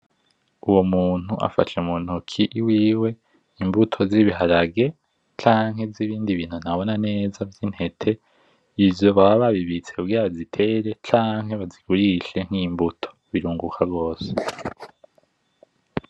Uwo muntu afashe mu ntoki iwiwe ibunto z'ibiharage canke ibindi bintu ntabona neza vy'intete izo bobabibitse kugira bazitera canke bazigurishe nk'imbuto, birunguka gose.